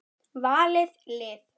Valið lið.